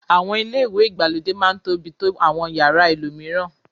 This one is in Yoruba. Àwọn ilé ìwẹ̀ ìgbàlódé máá ń tóbi tó àwọn yàrá ẹlòmíràn